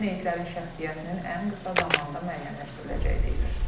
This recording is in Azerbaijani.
Meyitlərin şəxsiyyətinin ən qısa zamanda müəyyənləşdiriləcəyi deyilir.